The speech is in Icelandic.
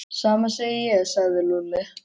Sama segi ég sagði Lúlli.